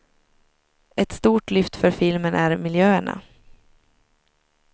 Ett stort lyft för filmen är miljöerna.